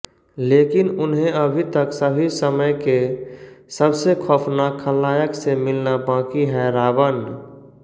लेकिन उन्हें अभी तक सभी समय के सबसे खौफनाक खलनायक से मिलना बाकी है रावण